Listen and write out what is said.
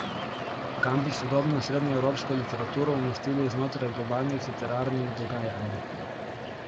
Kam bi sodobno srednjeevropsko literaturo umestili znotraj globalnih literarnih dogajanj?